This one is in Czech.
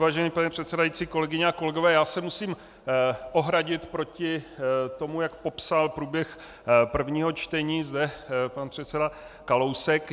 Vážený pane předsedající, kolegyně a kolegové, já se musím ohradit proti tomu, jak popsal průběh prvního čtení zde pan předseda Kalousek.